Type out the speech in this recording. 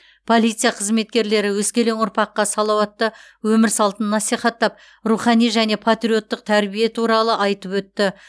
полиция қызметкерлері өскелең ұрпаққа салауатты өмір салтын насихаттап рухани және патриоттық тәрбие туралы айтып өтті